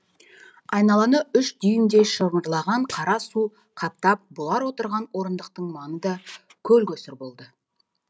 айналаны үш дюймдей шымырлаған қара су қаптап бұлар отырған орындықтың маңы да көлкөсір болды